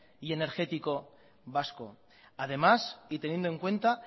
y energético vasco además y teniendo en cuenta